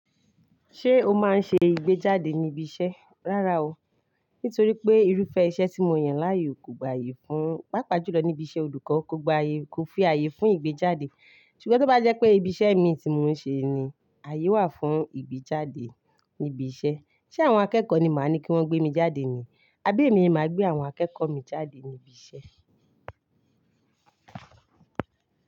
Ṣé o máa ń ṣe ìgbéjáde ní ibi iṣẹ́? Rárá o. Nítorí pé irúfẹ́ iṣẹ́ tí mo yàn láàyò kò gba àyè fún, pàápàá jùlọ níbi iṣẹ́ olùkọ́ kò gba àyè, kò fi àyè fún ìgbéjáde. Ṣùgbọ́n tó bá jẹ́ pé ibi iṣẹ́ mi tí mò ń ṣe ni, àyè wà fún ìgbéjáde ní ibi iṣẹ́. Ṣé àwọn akẹ́kọ̀ọ́ ni màá ní kí wọ́n gbé mi jáde ni? Abi émi ni màá gbé àwọn akẹ́kọ̀ọ́ mi jáde níbi iṣẹ́